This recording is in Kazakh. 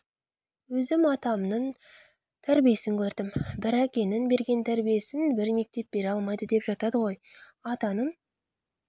өзім атаның тәрбиесін көрдім бір әкенің берген тәрбиесін бір мектеп бере алмайды деп жатады ғой атаның